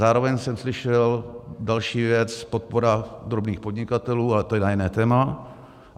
Zároveň jsem slyšel další věc - podpora drobných podnikatelů, ale to je na jiné téma.